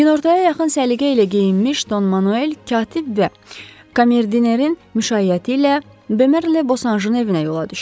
Günortaya yaxın səliqə ilə geyinmiş Don Manuel katib və komerdinerin müşayiəti ilə Bomerlə Bosanjın evinə yola düşdü.